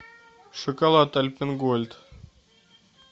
шоколад альпен гольд